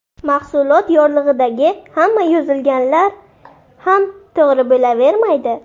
Mahsulot yorlig‘idagi hamma yozilganlar ham to‘g‘ri bo‘lavermaydi.